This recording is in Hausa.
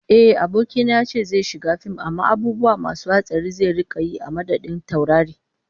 Ehh, abokina yace zai shiga fim amma abubuwa masu hatsari zai rika yi a madadin taurari